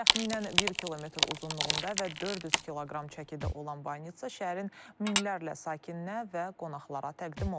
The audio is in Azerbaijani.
Təxminən 1 km uzunluğunda və 400 kq çəkidə olan banitsa şəhərin minlərlə sakininə və qonaqlara təqdim olunub.